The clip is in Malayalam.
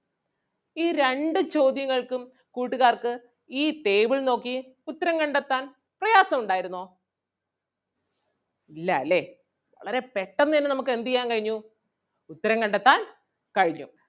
ഈ രണ്ടു ചോദ്യങ്ങൾക്കും കൂട്ടുകാർക്ക് ഈ table നോക്കി ഉത്തരം കണ്ടെത്താൻ പ്രയാസം ഉണ്ടായിരുന്നോ? ഇല്ലാല്ലേ വളരെ പെട്ടെന്ന് തന്നെ നമുക്ക് എന്ത് ചെയ്യാൻ കഴിഞ്ഞു ഉത്തരം കണ്ടെത്താൻ കഴിഞ്ഞു.